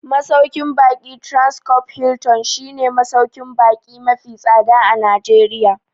Masauƙin baƙin Transcorp Hilton shi ne masauƙin baƙi mafi tsada a Najeriya